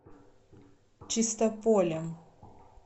чистополем